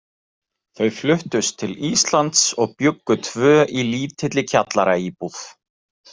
Þau fluttust til Íslands og bjuggu tvö í lítilli kjallaraíbúð.